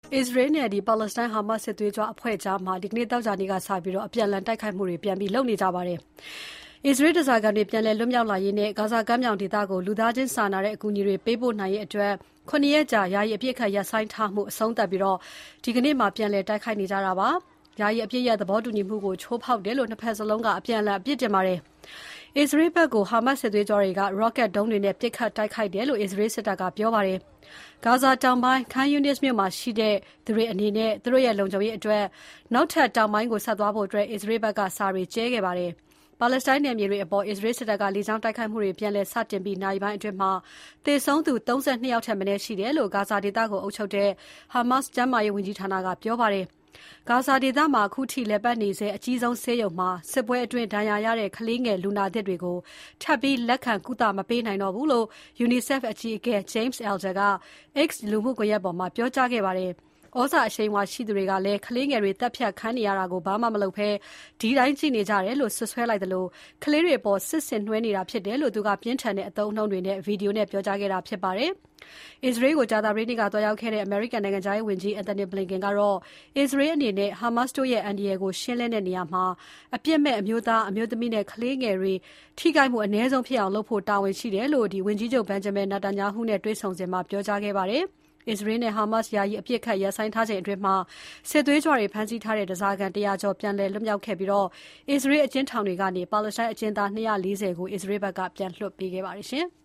အစ္စရေးနဲ့ ပါလက်စတိုင်း ဟာမတ်စ် စစ်သွေးကြွအဖွဲ့ကြား ဒီနေ့ သောကြာနေ့မှာ အပြန်အလှန် ပြန်တိုက်နေကြပါတယ်။ အစ္စရေးဓါးစာခံတွေ ပြန်လည်လွတ်မြောက်လာရေးနဲ့ ဂါဇာကမ်းမြောင်ဒေသကို လူသားချင်းစာနာတဲ့ အကူအညီတွေ ပေးပို့နိုင်ရေးအတွက် ၇ ရက်ကြာယာယီ အပစ်အခတ်ရပ်ဆိုင်းထားခဲ့ပြီး ဒီနေ့ပြန်လည်တိုက်ခိုက်နေကြတာပါ။ ယာယီအပစ်ရပ်သဘောတူညီမှုကို ချိုးဖောက်တယ်လို့ ၂ ဘက်လုံးက အပြန်အလှန် အပစ်တင်ပါတယ်။ အစ္စရေးဘက်ကို ဟာမတ်စ် စစ်သွေးကြွတွေက ရော့ကတ်ဒုံးတွေနဲ့ပစ်ခတ်တိုက်ခိုက်တယ်လို့ အစ္စရေးစစ်တပ်က ပြောပါတယ်။ ဂါဇာတောင်ပိုင်း Khan Younis မြို့မှာရှိနေကြသူတွေအနေနဲ့ သူတို့ရဲ့ လုံခြုံရေးအတွက် နောက်ထပ်တောင်ပိုင်းကို ဆက်သွားကြဖို့ အစ္စရေးဘက်က စာတွေကြဲခဲ့ပါတယ်။ ပါလက်စတိုင်းနယ်မြေတွေအပေါ် အစ္စရေးစစ်တပ်က လေကြောင်းတိုက်ခိုက်မှုတွေ ပြန်လည်စတင်ပြီး နာရီပိုင်းအတွင်း သေဆုံးသူ ၃၂ ယောက်ထက်မနည်းရှိတယ်လို့ ဂါဇာဒေသကို အုပ်ချုပ်တဲ့ ဟာမတ်စ် ကျန်းမာရေးဝန်ကြီးဌာနကပြောပါတယ်။ ဂါဇာဒေသမှာ အခုထက်ထိ လည်ပတ်နေစဲ အကြီးဆုံးဆေးရုံမှာ စစ်ပွဲအတွင်း ဒဏ်ရာရတဲ့ ကလေးငယ် လူနာသစ်တွေကို ထပ်ပြီးလက်ခံ ကုသမပေးနိုင်တော့ဘူးလို့ UNICEF အကြီးအကဲ James Elder က X လူမှုကွန်ရက်ပေါ်မှာ ပြောကြားခဲ့ပါတယ်။ ဩဇာအရှိန်အဝါရှိသူတွေကလည်း ကလေးငယ်တွေသတ်ဖြတ်ခံနေရတာကို ဘာမှမလုပ်ဘဲ ဒီတိုင်းကြည့်နေကြတယ်လို့ စွပ်စွဲလိုက်သလို ကလေးငယ်တွေအပေါ် စစ်ဆင်နွဲနေတာဖြစ်တယ်လို့ သူက ပြင်းထန်တဲ့ အသုံးအနှုန်းတွေနဲ့ ဗွီဒီယို နဲ့ပြောကြားခဲ့တာဖြစ်ပါတယ်။ အစ္စရေးကို ကြာသပတေးနေ့က သွားရောက်ခဲ့တဲ့ အမေရိကန်နိုင်ငံခြားရေးဝန်ကြီး Antony Blinken ကတော့ အစ္စရေးအနေနဲ့ ဟာမတ်စ် တိုးရဲ့ အန္တရာယ်ကို ရှင်းလင်းတဲ့နေရာမှာ အပစ်မဲ့ အမျိုးသား၊ အမျိုးသမီးနဲ့ ကလေးငယ်တွေ ထိခိုက်မှုအနည်းဆုံးဖြစ်အောင်လုပ်ဖို့ တာဝန်ရှိတယ်လို့ ဝန်ကြီးချုပ် Benjamin Netanyahu နဲ့တွေ့ဆုံစဉ် ပြောကြားခဲ့ပါတယ်။ အစ္စရေးနဲ့ ဟာမတ်စ် ယာယီ အပစ်အခတ်ရပ်ဆိုင်းထားချိန်အတွင်း စစ်သွေးကြွတွေ ဖမ်းဆီးထားတဲ့ ဓါးစာခံ ၁၀၀ ကျော် ပြန်လည်လွတ်မြောက်ခဲ့ပြီး အစ္စရေးဘက်ကလည်း အစ္စရေးအကျဉ်းထောင်တွေကနေ ပါလက်စတိုင်း အကျဉ်းသား ၂၄၀ ကို ပြန်လွှတ်ပေးခဲ့ပါတယ်။